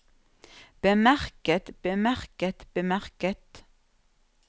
bemerket bemerket bemerket